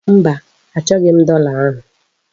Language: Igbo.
Mba, achọghị m dọla ahụ.